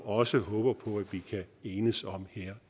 også håber vi kan enes om her